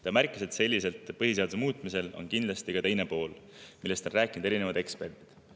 Ta märkis, et põhiseaduse sellisel muutmisel on kindlasti ka teine pool, millest on rääkinud erinevad eksperdid.